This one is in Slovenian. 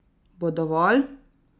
Bo dovolj?